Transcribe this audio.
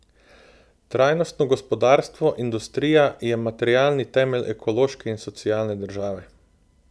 Trajnostno gospodarstvo, industrija je materialni temelj ekološke in socialne države.